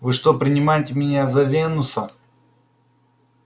вы что принимаете меня за венуса